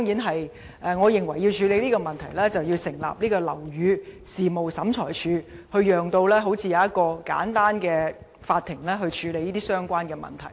此外，我認為要處理這個問題，便要成立"樓宇事務審裁處"，以簡單的法庭形式處理相關的問題。